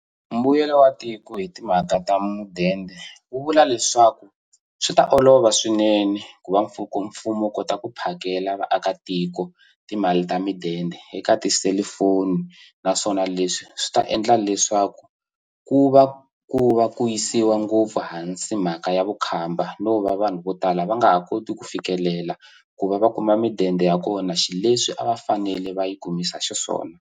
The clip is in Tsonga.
Mbuyelo wa tiko hi timhaka ta mudende wu vula leswaku swi ta olova swinene ku va mfumo wu kota ku phakela vaakatiko timali ta mudende eka tiselifoni naswona leswi swi ta endla leswaku ku va ku va ku yisiwa ngopfu hansi mhaka ya vukhamba no va vanhu vo tala va nga ha koti ku fikelela ku va va kuma mudende ya kona xileswi a va fanele va yi kumisa xiswona.